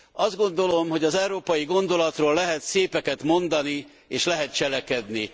Azt gondolom, hogy az európai gondolatról lehet szépeket mondani és lehet cselekedni.